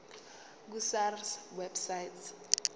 ku sars website